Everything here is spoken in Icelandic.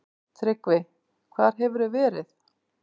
TRYGGVI: Hvar hefurðu verið?